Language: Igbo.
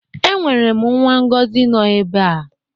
Enwerem nwa ngozi no ebe